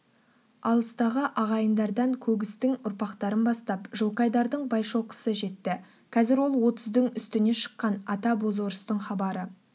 алыстағы ағайындардан көгістің ұрпақтарын бастап жылқайдардың байшоқысы жетті қазір ол отыздың үстіне шыққан ата бозорыстың хабары